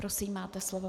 Prosím, máte slovo.